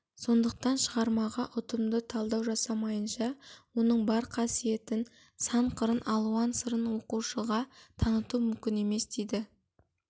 сондықтан шығармаға ұтымды талдау жасамайынша оның бар қасиетін сан-қырын алуан сырын оқушыға таныту мүмкін емес дейді